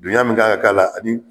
Dunyan min kan ka k'a la a bɛ